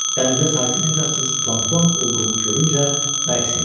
Dənizdə saysız-hesabsız plankton olduğunu görüncə bərk sevindi.